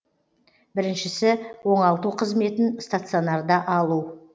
біріншісі оңалту қызметін стационарда алу